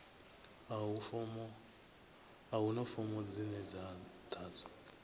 a huna fomo dzine dza ḓadzwa